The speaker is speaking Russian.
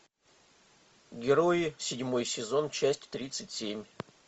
герои седьмой сезон часть тридцать семь